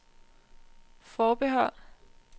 forbehold